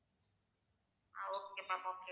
ah okay ma'am okay